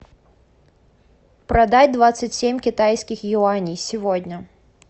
продать двадцать семь китайских юаней сегодня